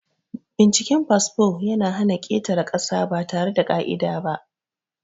Binciken fasfo ya na hana ƙetare ƙasa ba tare da ƙa'ida ba.